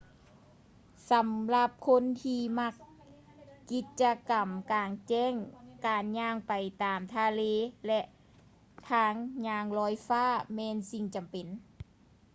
ສຳລັບຄົນທີ່ມັກກິດຈະກຳກາງແຈ້ງ ການຍ່າງໄປຕາມທະເລ ແລະ ທາງຍ່າງລອຍຟ້າແມ່ນສິ່ງຈຳເປັນ